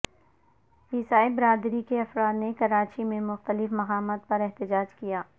عیسائی برادی کے افراد نے کراچی میں مختلف مقامات پر احتجاج کیا